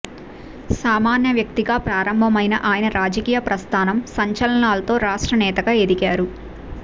సామాన్య వ్యక్తిగా ప్రారంభమైన ఆయన రాజకీయ ప్రస్థానం సంచలనాలతో రాష్ట్ర నేతగా ఎదిగారు